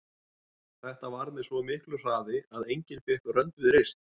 Þetta varð með svo miklu hraði að enginn fékk rönd við reist.